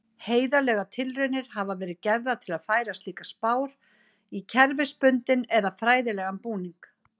Heiðarlegar tilraunir hafa verið gerðar til að færa slíkar spár í kerfisbundinn eða fræðilegan búning.